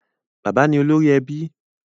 Bàbá ni olórí ẹbí